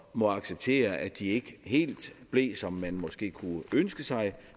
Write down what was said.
må acceptere at de ikke helt blev som man måske kunne ønske sig